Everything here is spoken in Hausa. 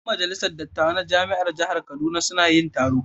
Yan majalisar dattawa na jami'an jihar Kaduna suna yin taro.